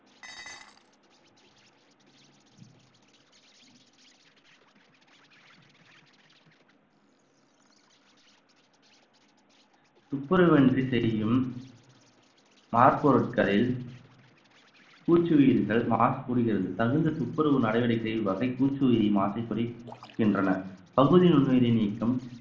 துப்புரவு இன்றி செய்யும் பாற்பொருட்களில் பூச்சியிர்கள் மாசு கூடுகிறது தகுந்த துப்புரவு நடவடிக்கை வகை பூச்சியிரிமாசை குறைக்கின்றன பகுதி நுண்ணுயிரி நீக்கம்